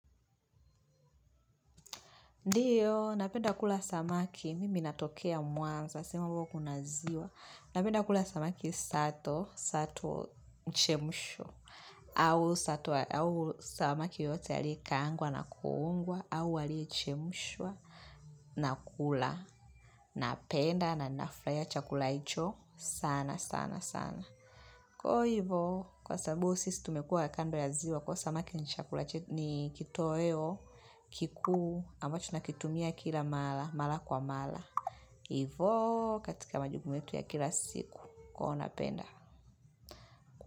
Ndiyo, napenda kula samaki, mimi natokea mwanza sema huko kuna ziwa, napenda kula samaki sato, sato mchemsho, au sato, au samaki yote aliye kaangwa na kuungwa, au aliye chemshwa, nakula, napenda na nafurahia chakula hicho, sana, sana, sana. Kwa hivyo, kwa sababu sisi tumekuwa kando ya ziwa, kwa hivyo samaki ni kitoeo, kikuu, ambacho nakitumia kila mala, mala kwa mala. Hivyo katika majukumu yetu ya kila siku huwa napenda.